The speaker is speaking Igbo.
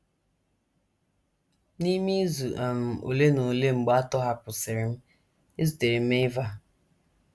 N’ime izu um ole na ole mgbe a tọhapụsịrị m, ezutere m Eva.